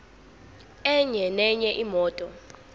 enye nenye imoto